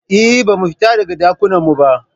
Eh, Ba mu fita daga Ɗakunan mu ba